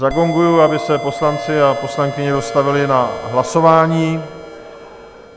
Zagonguji, aby se poslanci a poslankyně dostavili na hlasování.